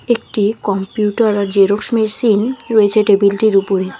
একটি কম্পিউটার আর Xerox machine রয়েছে টেবিলটির উপরে।